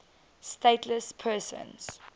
stateless persons